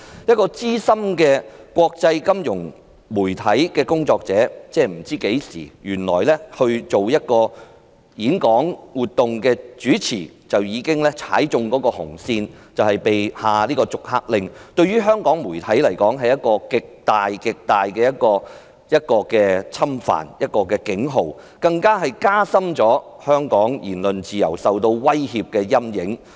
一位資深的國際媒體工作者主持一次演講活動，原來已踩了紅線被下逐客令，這對香港媒體是一個極大的侵犯、警號，更加深了香港言論自由受到威脅的陰影。